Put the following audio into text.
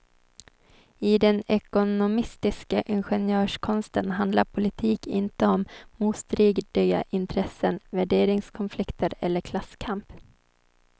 I den ekonomistiska ingenjörskonsten handlar politik inte om motstridiga intressen, värderingskonflikter eller klasskamp.